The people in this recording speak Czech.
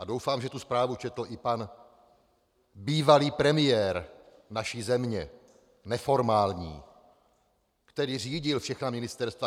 A doufám, že tu zprávu četl i pan bývalý premiér naší země, neformální, který řídil všechna ministerstva.